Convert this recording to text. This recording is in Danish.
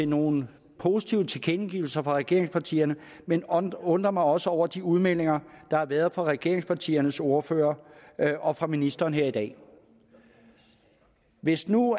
nogle positive tilkendegivelser fra regeringspartierne men undrer undrer mig også over de udmeldinger der har været fra regeringspartiernes ordførere og fra ministeren her i dag hvis nu